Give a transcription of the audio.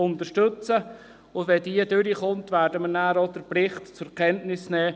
Wenn diese angenommen wird, werden wir anschliessend auch den Bericht zur Kenntnis nehmen.